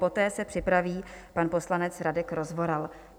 Poté se připraví pan poslanec Radek Rozvoral.